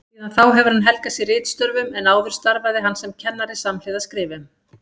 Síðan þá hefur hann helgað sig ritstörfum en áður starfaði hann sem kennari samhliða skrifum.